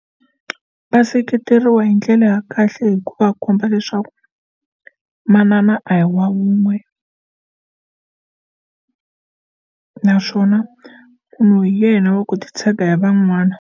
Va seketeriwa hi ndlela ya kahle hi ku vakhomba leswaku manana a hi wa wun'we naswona munhu hi yena wa ku titshega hi van'wana.